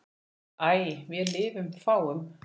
æ vér lifað fáum